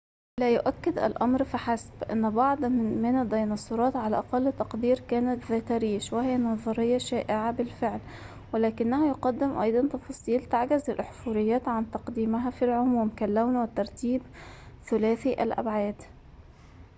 لا يؤكد الأمر فحسب أن بعض من الديناصورات على أقل تقدير كانت ذات ريش وهي نظرية شائعة بالفعل ولكنه يقدم أيضًا تفاصيل تعجز الأحفوريات عن تقديمها في العموم كاللون والترتيب ثلاثيّ الأبعاد